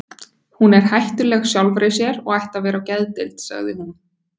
Hún er hættuleg sjálfri sér og ætti að vera á geðdeild, sagði hún.